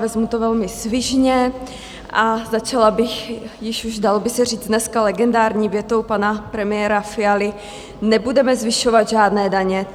Vezmu to velmi svižně a začala bych, již už, dalo by se říct, dneska legendární větou pana premiéra Fialy: nebudeme zvyšovat žádné daně.